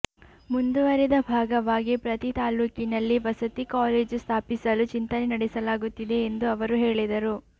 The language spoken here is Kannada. ಮುಂದುವರೆದ ಭಾಗವಾಗಿ ಪ್ರತಿ ತಾಲೂಕಿನಲ್ಲಿ ವಸತಿ ಕಾಲೇಜು ಸ್ಥಾಪಿಸಲು ಚಿಂತನೆ ನಡೆಸಲಾಗುತ್ತಿದೆ ಎಂದು ಅವರು ಹೇಳಿದರು